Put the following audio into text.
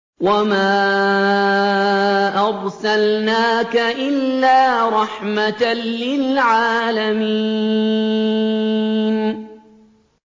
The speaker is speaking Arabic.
وَمَا أَرْسَلْنَاكَ إِلَّا رَحْمَةً لِّلْعَالَمِينَ